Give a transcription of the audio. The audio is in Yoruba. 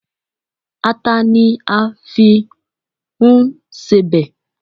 Ata ni a fi n sebẹ̀